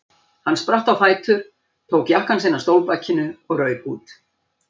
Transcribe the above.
Hann spratt á fætur, tók jakkann sinn af stólbakinu og rauk út.